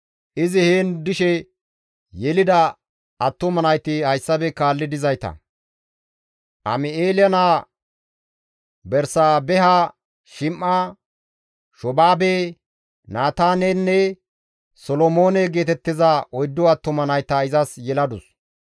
Izi heen dishe yelida attuma nayti hayssafe kaalli dizayta; Am7eele naa Bersaabeha Shim7a, Shoobaabe, Naataanenne Solomoone geetettiza oyddu attuma nayta izas yeladus.